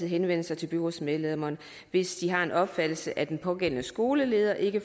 henvende sig til byrådsmedlemmerne hvis de har den opfattelse at den pågældende skoleleder ikke